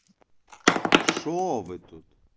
что вы тут